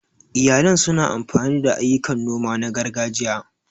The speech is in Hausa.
Iyalan su na amfani da ayyukan noma na gargajiya.